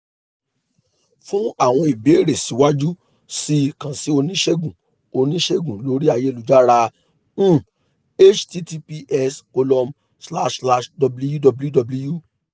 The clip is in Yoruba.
fun awọn ibeere siwaju sii kan si onisegun onisegun lori ayelujara um https column slash slash www